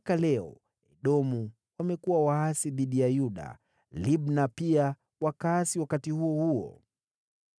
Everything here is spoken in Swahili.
Hadi leo Edomu wameasi dhidi ya Yuda. Libna pia wakaasi wakati huo huo.